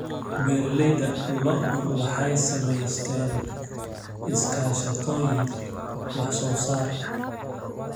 Beeralayda lo'du waxay samaysteen iskaashatooyin wax-soo-saar.